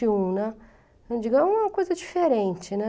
e um né. Eu digo, é uma coisa diferente, né?